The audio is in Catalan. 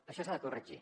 això s’ha de corregir